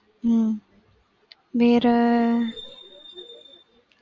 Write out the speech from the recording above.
உம் வேற